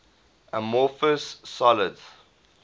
amorphous solids